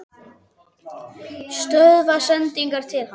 Stöðva sendingar til hans?